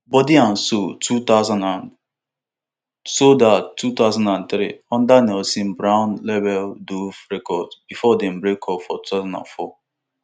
body and soul two thousand and sold out two thousand and three under nelson brown label dove records bifor dem breakup for two thousand and four